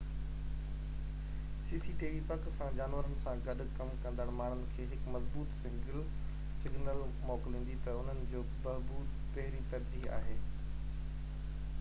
cctv پڪ سان جانورن سان گڏ ڪم ڪندڙ ماڻهن کي هڪ مضبوط سگنل موڪليندي تہ انهن جي بهبود پهرين ترجيح آهي